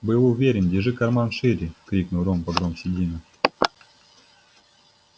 был уверен держи карман шире крикнул рон погромче дина